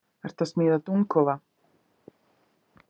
Ertu að smíða dúfnakofa? spyr lítil stelpa með hauslausa dúkku í kerru.